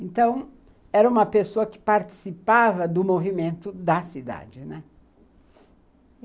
Então, era uma pessoa que participava do movimento da cidade, né.